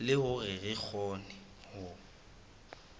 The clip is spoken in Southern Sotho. le hore re kgone ho